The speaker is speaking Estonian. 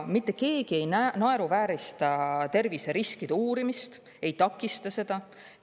Mitte keegi ei naeruväärista terviseriskide uurimist, ei takista seda.